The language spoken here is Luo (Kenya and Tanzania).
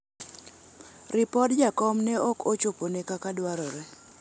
ripod jakom ne ok ochopone kaka dwarore